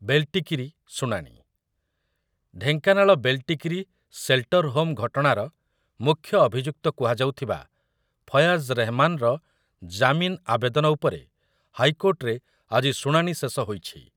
ବେଲ୍ଲ୍ଟିକିରି ଶୁଣାଣି, ଢେଙ୍କାନାଳ ବେଲ୍ଲ୍ଟିକିରି ସେଲ୍ଟରହୋମ୍ ଘଟଣାର ମୁଖ୍ୟ ଅଭିଯୁକ୍ତ କୁହାଯାଉଥିବା ଫୟାଜ୍ ରେହମାନ୍ର ଜାମିନ ଆବେଦନ ଉପରେ ହାଇକୋର୍ଟରେ ଆଜି ଶୁଣାଣି ଶେଷ ହୋଇଛି ।